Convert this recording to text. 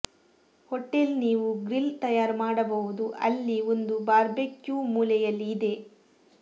hotel ನೀವು grill ತಯಾರು ಮಾಡಬಹುದು ಅಲ್ಲಿ ಒಂದು ಬಾರ್ಬೆಕ್ಯೂ ಮೂಲೆಯಲ್ಲಿ ಇದೆ